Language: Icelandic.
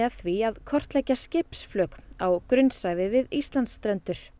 því að kortleggja skipsflök á grunnsævi við Íslandsstrendur